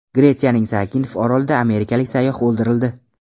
Gretsiyaning Zakinf orolida amerikalik sayyoh o‘ldirildi.